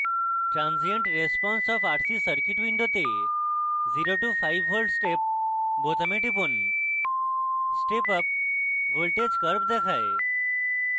transient response of rc circuit window 0 to 5v step বোতামে টিপুন step up voltage curve দেখায়